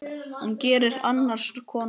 Hann gerir annars konar gagn.